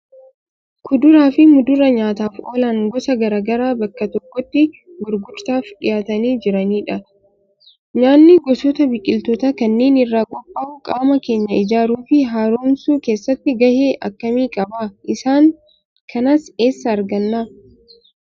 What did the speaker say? Kuduraa fi muduraa nyaataaf oolan gosa garaa garaa bakka tokkotti gurgurtaaf dhiyaatanii jiranidha. Nyaanni gosoota biqiltootaa kanneen irraa qophaa'u qaama keenya ijaaruu fi haaromsuu keessatti gahee akkamii qaba? Isaan kanas eessaa arganna?